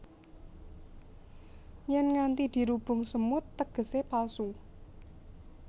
Yèn nganti dirubung semut tegesé palsu